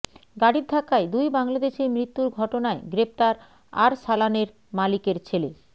গাড়ির ধাক্কায় দুই বাংলাদেশির মৃত্যুর ঘটনায় গ্রেফতার আরসালানের মালিকের ছেলে